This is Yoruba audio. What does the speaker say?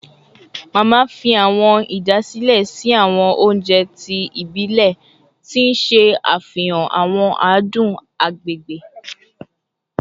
Mama fi awọn idasile sin awọn ounjẹ ti ibilẹ, ti n ṣe afihan awọn adun agbegbe